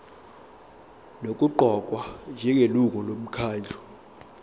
nokuqokwa njengelungu lomkhandlu